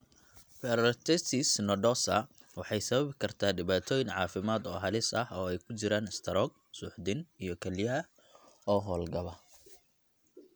Polyarteritis nodosa waxay sababi kartaa dhibaatooyin caafimaad oo halis ah oo ay ku jiraan istaroog, suuxdin, iyo kelyaha oo hawlgab.